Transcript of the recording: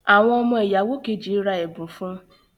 Awọn ọmọ ìyàwó Kejì rà ẹbun fún